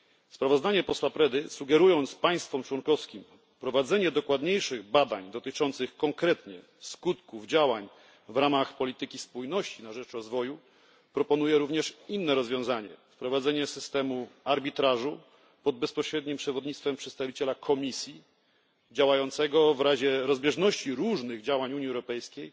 Sprawozdanie posła Predy, sugerując państwom członkowskim prowadzenie dokładniejszych badań dotyczących konkretnie skutków działań w ramach polityki spójności na rzecz rozwoju, proponuje również inne rozwiązanie wprowadzenie systemu arbitrażu pod bezpośrednim przewodnictwem przedstawiciela Komisji, działającego w razie rozbieżności różnych działań Unii Europejskiej